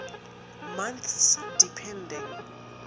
months depending